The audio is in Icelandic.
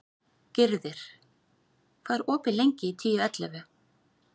Gyrðir, hvað er opið lengi í Tíu ellefu?